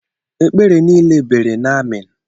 Ekpere niile bere n'Amen.